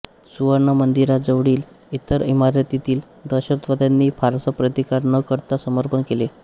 सुवर्ण मंदिरा जवळील इतर इमारतीतील दहशतवाद्यांनी फारसा प्रतिकार न करता समर्पण केले